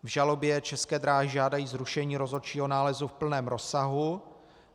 V žalobě České dráhy žádají zrušení rozhodčího nálezu v plném rozsahu.